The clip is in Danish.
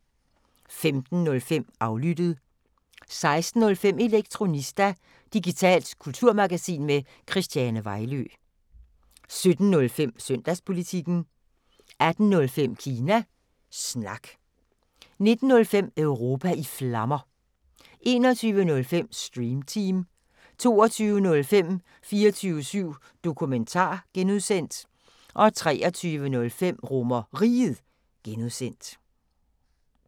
15:05: Aflyttet 16:05: Elektronista – digitalt kulturmagasin med Christiane Vejlø 17:05: Søndagspolitikken 18:05: Kina Snak 19:05: Europa i Flammer 21:05: Stream Team 22:05: 24syv Dokumentar (G) 23:05: RomerRiget (G)